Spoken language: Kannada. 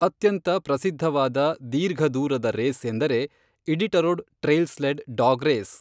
ಅತ್ಯಂತ ಪ್ರಸಿದ್ಧವಾದ ದೀರ್ಘ ದೂರದ ರೇಸ್ ಎಂದರೆ Iditarod trail sled dog race